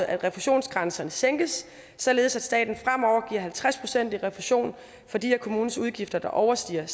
at refusionsgrænserne sænkes således at staten fremover giver halvtreds procent i refusion for de af kommunens udgifter der overstiger